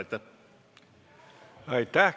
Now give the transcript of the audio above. Aitäh!